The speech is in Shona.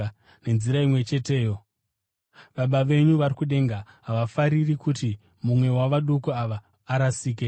Nenzira imwe cheteyo Baba venyu vari kudenga havafariri kuti mumwe wavaduku ava arasike.